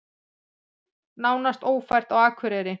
Nánast ófært á Akureyri